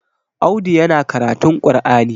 Audu yana karatun qur'ani